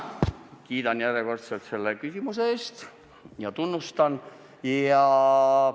Kiidan järjekordselt küsimuse eest ja avaldan tunnustust!